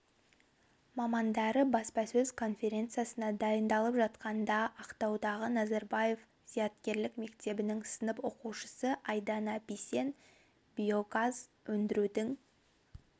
мамандары баспасөз конференциясына дайындалып жатқанда ақтаудағы назарбаев зияткерлік мектебінің сынып оқушысы айдана бисен биогаз өндірудің